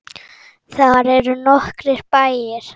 Þar eru nokkrir bæir.